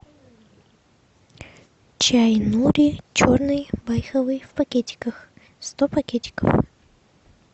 чай нури черный байховый в пакетиках сто пакетиков